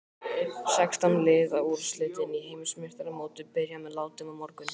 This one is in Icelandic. Sextán liða úrslitin í Heimsmeistaramótinu byrja með látum á morgun.